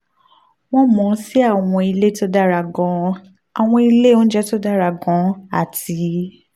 wọ́n mọ̀ ọ́n sí àwọn ilé tó dára gan-an àwọn ilé oúnjẹ tó dára gan-an àti